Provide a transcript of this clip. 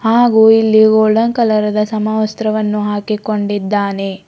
ಹಾಗು ಇಲ್ಲಿ golden colour ದ ಸಮವಸ್ತ್ರವನ್ನು ಹಾಕಿಕೊಂಡಿದ್ದಾನೆ.